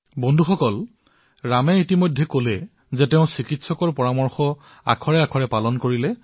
বন্ধুসকল যিদৰে ৰামে কলে যে তেওঁ সেই সকলো নিৰ্দেশাৱলী পালন কৰিছিল যি তেওঁক কৰনাত আক্ৰান্ত হোৱাৰ পিছত চিকিৎসকে প্ৰদান কৰিছিল